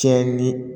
Tiɲɛni